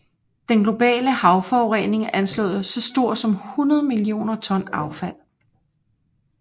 Den globale havforurening er anslået så stor som 100 millioner ton affald